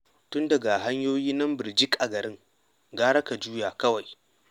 Tun da ga hanyoyi nan birjik a garin, gara ka juya kawai.